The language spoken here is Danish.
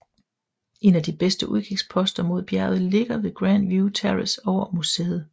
En af de bedste udkigsposter mod bjerget ligger ved Grandview Terrace over museet